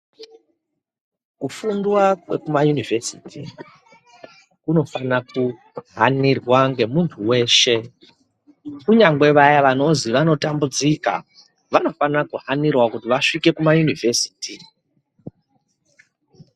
Kufundiwa kwekuma univhesiti kunofana kuhanirwa ngemuntu weshe kunyangwe vaya vanozwi vanotambudzika vanofana kuhanira kuti vasvike kuma univhesiti.